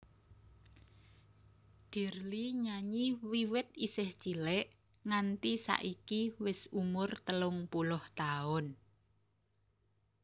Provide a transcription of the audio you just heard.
Dirly nyanyi wiwit isih cilik nganti saiki wis umur telung puluh taun